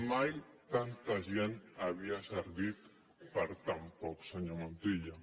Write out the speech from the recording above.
mai tanta gent havia servit per a tan poc senyor montilla